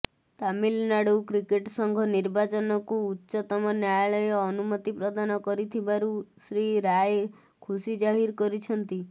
Tamil Nadu cricket ସଂଘ ନିର୍ବାଚନକୁ ଉଚ୍ଚତମ ନ୍ୟାୟାଳୟ ଅନୁମତି ପ୍ରଦାନ କରିଥିବାରୁ ଶ୍ରୀ ରାଏ ଖୁସି ଜାହିର କରିଛନ୍ତି